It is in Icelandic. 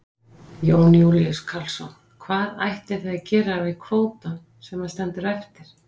Jón Júlíus Karlsson: Hvað ætlið þið að gera við kvótann sem að stendur eftir?